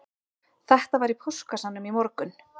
Þetta var í póstkassanum í morgun